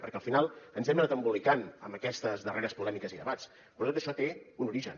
perquè al final ens hem anat embolicant amb aquestes darreres polèmiques i debats però tot això té un origen